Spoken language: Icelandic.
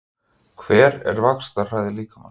Hver er vaxtarhraði líkamans?